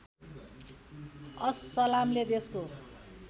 अस सलामले देशको